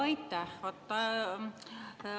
Aitäh!